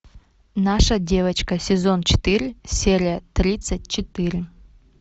наша девочка сезон четыре серия тридцать четыре